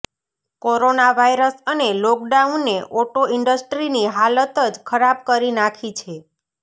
corona virus અને લોકડાઉને auto ઇન્ડસ્ટ્રીની હાલત જ ખરાબ કરી નાખી છે